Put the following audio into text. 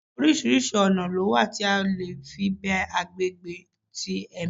Oríṣiríṣi oná lo wa tí a le fí be agbegbe ti ẹmí